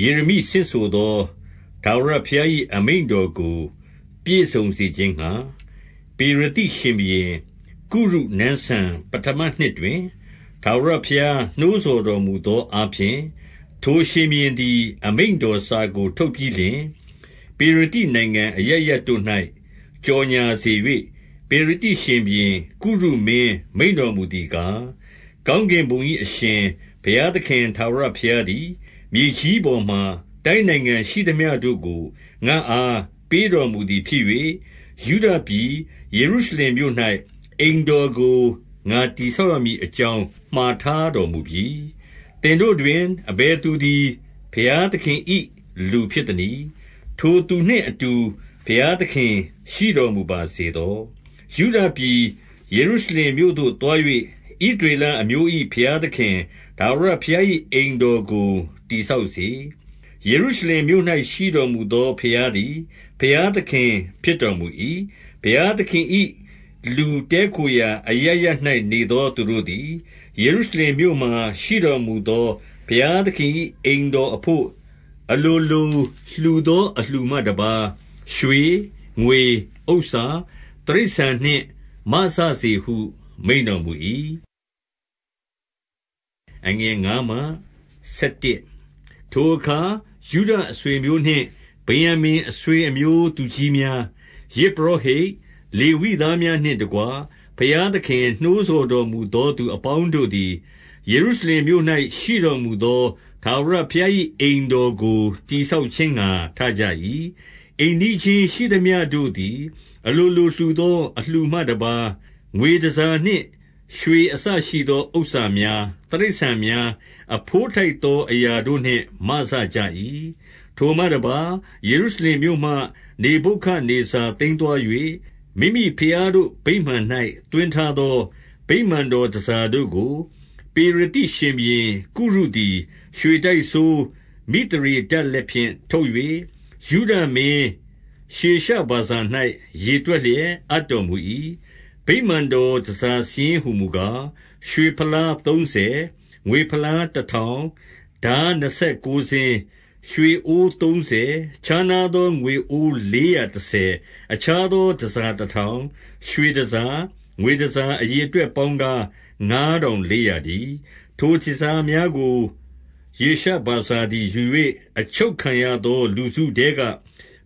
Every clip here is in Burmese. ယေရမိဆင့်ဆိုသော ထာဝရဘုရား၏ အမိန့် တော်ကို ပြည့်စုံ စေခြင်းငှါ၊ ပေရသိရှင်ဘုရင် ကုရုနန်းစံ ပဌမနှစ်တွင်၊ ထာဝရဘုရား နှိုးဆော်တော်မူသော အားဖြင့်၊ ထိုရှင်ဘုရင်သည် အမိန့်တော်စာကို ထုတ်ပြီး လျှင်၊ ပေရသိနိုင်ငံအရပ်ရပ်တို့၌ ကြော်ငြာစေ၍၊ 2 ပေရသိရှင်ဘုရင် ကုရုမင်းမိန့်တော်မူသည် ကား၊ ကောင်းကင်ဘုံ၏အရှင် ဘုရားသခင် ထာဝရ ဘုရားသည်၊ မြေကြီးပေါ်မှာ တိုင်းနိုင်ငံရှိသမျှတို့ကို ငါ့အားပေးတော်မူသည်ဖြစ်၍၊ ယုဒပြည်ယေရုရှလင်မြို့၌ အိမ်တော်ကို ငါတည်ဆောက်ရမည်အကြောင်း မှာထား တော်မူပြီ။ 3 သင်တို့တွင် အဘယ်သူသည် ဘုရားသခင်၏ လူဖြစ်သနည်း။ ထိုသူနှင့်အတူ ဘုရားသခင်ရှိတော်မူ ပါစေသော။ ယုဒပြည်ယေရုရှလင်မြို့သို့ သွား၍ ဣသ ရေလအမျိုး၏ ဘုရားသခင် ထာဝရဘုရား၏ အိမ်တော် ကို တည်ဆောက်စေ။ ယေရုရှလင်မြို့၌ ရှိတော်မူသော ဘုရားသည် ဘုရားသခင်ဖြစ်တော်မူ၏။ 4 ဘုရားသခင်၏လူ တည်းခိုရာ အရပ်ရပ်၌ နေသောသူတို့သည်၊ ယေရုရှလင်မြို့မှာ ရှိတော်မူသော ဘုရားသခင်၏ အိမ်တော်အဘို့ အလိုလိုလှူသော အလှူမှတပါး၊ ရွှေ၊ ငွေ၊ ဥစ္စာ၊ တိရစ္ဆာန်နှင့် မစစေဟု မိန့်တော်မူ၏။ 5 ထိုအခါ ယုဒအဆွေအမျိုးနှင့် ဗင်္ယာမိန် အဆွေ အမျိုး သူကြီးများ၊ ယဇ်ပုရောဟိတ်၊ လေဝိသားများနှင့် တကွ၊ ဘုရားသခင် နှိုးဆော်တော်မူသောသူ အပေါင်းတို့ သည်၊ ယေရုရှလင်မြို့၌ ရှိတော်မူသော ထာဝရဘုရား၏ အိမ်တော်ကို တည်ဆောက်ခြင်းငှါ ထကြ၏။ 6 အိမ်နီးချင်း ရှိသမျှတို့သည်၊ အလိုလိုလှူသော အလှူမှတပါး၊ ငွေတန်ဆာနှင့်ရွှေ အစရှိသော ဥစ္စာများ၊ တိရစ္ဆာန်များ၊ အဘိုးထိုက်သော အရာတို့နှင့် မစကြ၏။ 7 ထိုမှတပါး၊ ယေရုရှလင်မြို့မှ နေဗုခဒ်နေဇာ သိမ်းသွား၍၊ မိမိဘုရားတို့ဗိမာန်၌ သွင်းထားသော ဗိမာန် တော်တန်ဆာတို့ကို၊ 8 ပေရသိရှင်ဘုရင် ကုရုသည် ရွှေတိုက်စိုး မိသရေ ဒတ်လက်ဖြင့် ထုတ်၍၊ ယုဒမင်းရှေရှဗာဇာ၌ ရေတွက် လျက် အပ်တော်မူ၏။ 9 ဗိမာန်တော် တန်ဆာစာရင်းဟူမူကား၊ ရွှေ ဖလားသုံးဆယ်၊ ငွေဖလားတထောင်၊ ထားနှစ်ဆယ် ကိုးစင်း၊ 10 ရွှေအိုးသုံးဆယ်၊ ခြားနားသောငွေအိုး လေးရာ တဆယ်၊ အခြားသောတန်ဆာတထောင်၊ 11 ရွှေတန်ဆာ၊ ငွေတန်ဆာအရေအတွက် ပေါင်း ကာ၊ ငါးထောင်လေးရာတည်း။ ထိုတန်ဆာများကို ရှေရှ ဗာဇာသည် ယူ၍၊ အချုပ်ခံရသော လူစုထဲက၊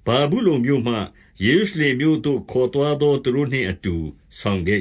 ဗာဗုလုန် မြို့မှ ယေရုရှလင်မြို့သို့ ခေါ်သွားသော သူတို့နှင့်အတူ ဆောင်ခဲ့